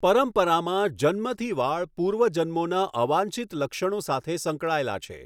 પરંપરામાં, જન્મથી વાળ પૂર્વ જન્મોના અવાંછિત લક્ષણો સાથે સંકળાયેલા છે.